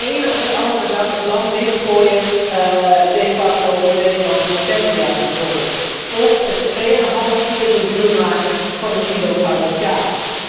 Van de ene op de andere dag het land dichtgooien de facto voor Nederlandse hortensia's bijvoorbeeld, of het tweeënhalf keer zo duur maken van een kilo Goudse kaas.